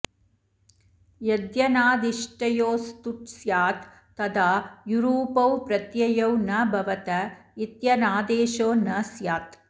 यद्यनादिष्टयोस्तुट् स्यात् तदा युरूपौ प्रत्ययौ न भवत इत्यनादेशो न स्यात्